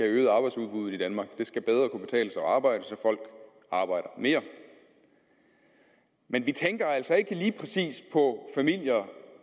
øget arbejdsudbuddet i danmark det skal bedre kunne betale sig at arbejde så folk arbejder mere men vi tænker altså ikke lige præcis på familier